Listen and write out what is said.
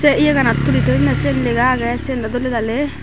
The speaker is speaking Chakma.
sey yeganot tuli thoyunney sen lega agey syen dww doley daley.